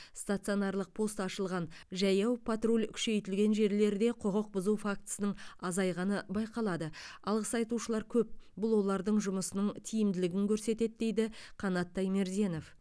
стационарлық пост ашылған жаяу патруль күшейтілген жерлерде құқық бұзу фактісінің азайғаны байқалады алғыс айтушылар көп бұл олардың жұмысының тиімділігін көрсетеді дейді қанат таймерденов